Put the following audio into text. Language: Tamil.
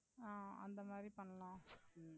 ஆ அந்த மாதிரி பண்ணலாம்